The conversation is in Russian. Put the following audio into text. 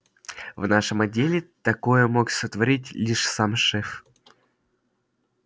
в нашем отделе такое мог сотворить лишь сам шеф